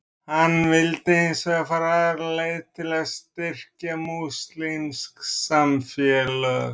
Hann vildi hins vegar fara aðra leið til að styrkja múslímsk samfélög.